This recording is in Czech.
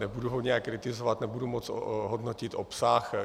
Nebudu ho nijak kritizovat, nebudu moc hodnotit obsah.